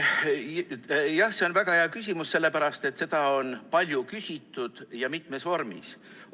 Jah, see on väga hea küsimus, seda on palju küsitud ja mitmes vormis.